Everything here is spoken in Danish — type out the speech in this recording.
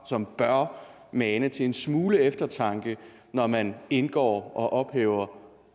som bør mane til en smule eftertanke når man indgår og ophæver